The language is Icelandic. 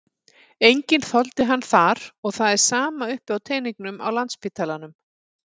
Enginn þoldi hann þar og það er sama uppi á teningnum á Landspítalanum.